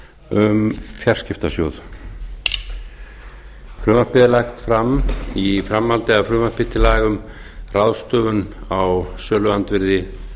um fjarskiptasjóð frumvarpið er lagt fram í framhaldi af frumvarpi til laga um ráðstöfun á söluandvirði